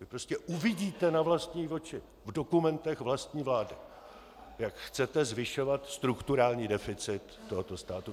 Vy prostě uvidíte na vlastní oči v dokumentech vlastní vlády, jak chcete zvyšovat strukturální deficit tohoto státu.